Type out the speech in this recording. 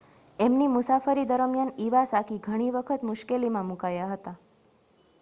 એમની મુસાફરી દરમિયાન ઇવાસાકી ઘણી વખત મુશ્કેલીમાં મુકાયા હતા